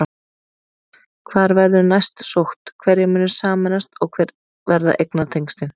Hvar verður næst sótt, hverjir munu sameinast og hver verða eignatengslin?